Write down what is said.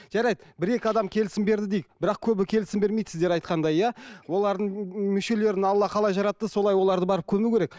жарайды бір екі адам келісім берді дейік бірақ көбі келісім бермейді сіздер айтқандай иә олардың мүшелерін алла қалай жаратты солай оларды барып көму керек